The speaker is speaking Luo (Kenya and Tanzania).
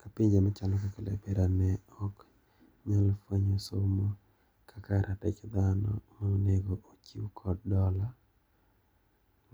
Ka pinje machalo kaka Liberia ne ok nyal fwenyo somo kaka ratich dhano ma onego ochiw kod dola,